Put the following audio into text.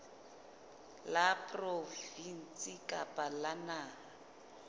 la provinse kapa la naha